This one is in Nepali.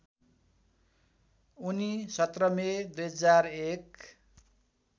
उनी १७ मे २००१